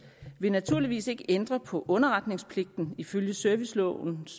vil naturligvis ikke ændre på underretningspligten ifølge servicelovens